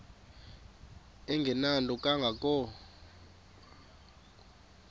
engenanto kanga ko